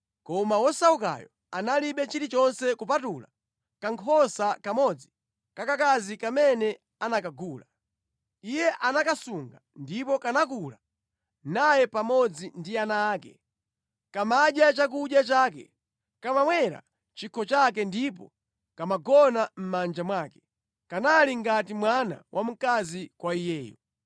koma wosaukayo analibe chilichonse kupatula kankhosa kamodzi kakakazi kamene anakagula. Iye anakasunga ndipo kanakula naye pamodzi ndi ana ake. Kamadya chakudya chake, kamamwera chikho chake ndipo kamagona mʼmanja mwake. Kanali ngati mwana wamkazi kwa iyeyo.